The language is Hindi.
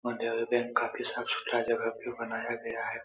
और बैंक काफी साफ-सुथरा जगह पे बनाया गया है।